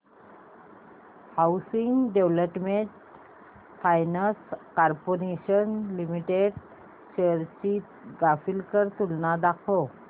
housing development finance corporation limited shares ची graphical तुलना दाखव